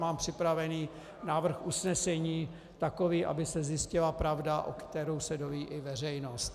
Mám připravený návrh usnesení takový, aby se zjistila pravda, o které se dozví i veřejnost.